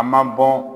A ma bɔ